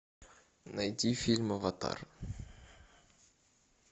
найти фильм аватар